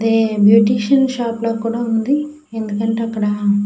ఇది beautician shop లాగా ఉంది. ఎందుకంటే అక్కడ --